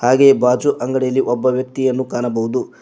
ಹಾಗೆ ಬಾಜು ಅಂಗಡಿಯಲಿ ಒಬ್ಬ ವ್ಯಕ್ತಿಯನ್ನು ಕಾಣಬಹುದು.